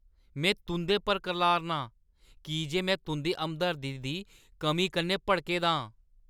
में तुंʼदे पर करलाऽ ना आं की जे में तुंʼदी हमदर्दी दी कमी कन्नै भड़के दा आं।